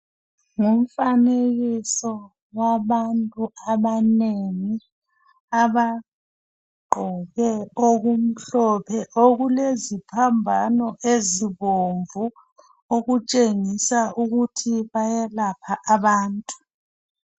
Ngumfanekiso wabantu abanengi abagqoke okumhlophe okuleziphambano ezibomvu okutshengisa ukuthi bayalapha abantu.